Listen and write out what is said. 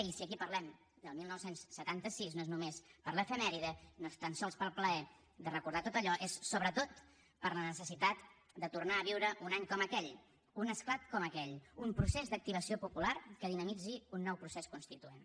i si aquí parlem del dinou setanta sis no és només per l’efemèride no és tan sols pel plaer de recordar tot allò és sobretot per la necessitat de tornar a viure un any com aquell un esclat com aquell un procés d’activació popular que dinamitzi un nou procés constituent